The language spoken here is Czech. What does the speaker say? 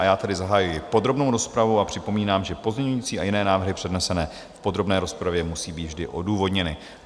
A já tedy zahajuji podrobnou rozpravu a připomínám, že pozměňující a jiné návrhy přednesené v podrobné rozpravě musí být vždy odůvodněny.